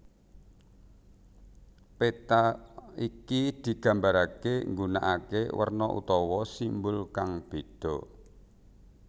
Péta iki digambaraké nggunakaké werna utawa simbol kang bédha